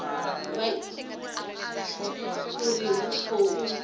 vha ivhe uri hu khou